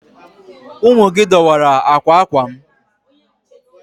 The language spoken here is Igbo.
Ụmụ gị dọwara akwa akwa m.